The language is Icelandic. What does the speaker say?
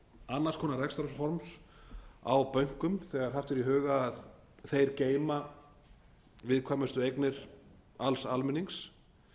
annars konar rekstrarforms á bönkum þegar haft er í huga að þeir geyma viðkvæmustu eignir alls almennings